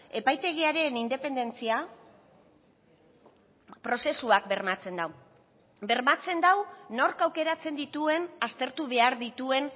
epaitegiaren independentzia prozesuak bermatzen du bermatzen du nork aukeratzen dituen aztertu behar dituen